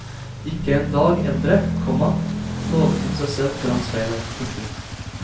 Ikke en dag eldre, komma lovet hun seg selv foran speilet. punktum